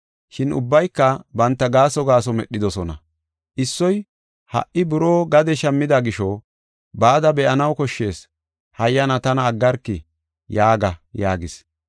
“Shin ubbayka banta gaaso gaaso medhidosona. Issoy, ‘Ha77i buroo gade shammida gisho, bada be7anaw koshshees; hayyana tana aggarki yaaga’ yaagis.